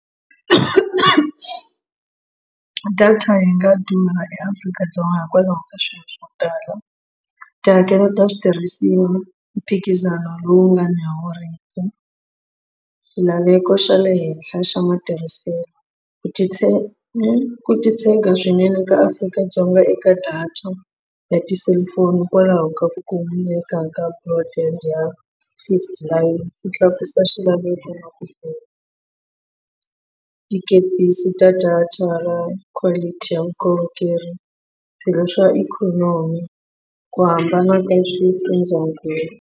Data yi nga dumanga eAfrika-Dzonga hikwalaho ka swilo swo tala tihakelo ta switirhisiwa mphikizano lowu nga ni xilaveko xa le henhla xa matirhiselo ku ku titshega swinene ka Afrika-Dzonga eka data ya tiselifoni hikwalaho ka ku kumeka ka product ya fixed line ku tlakusa xilaveko na ku tikepisi ta data quality ya vukorhokeri swilo swa ikhonomi ku hambana ka swifundzakulu.